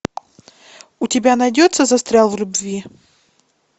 у тебя найдется застрял в любви